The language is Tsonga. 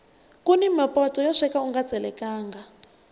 kuni mapoto yo sweka unga tselekangi